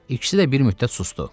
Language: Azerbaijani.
İkisi də bir müddət susdu.